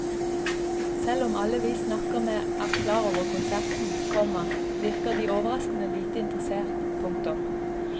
Selv om alle vi snakker med er klar over konserten, komma virker de overraskende lite interessert. punktum